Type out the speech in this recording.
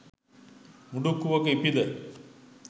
මුඩුක්කුවක ඉපිද